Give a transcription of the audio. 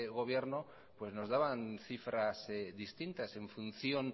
gobierno pues nos daban cifras distintas en función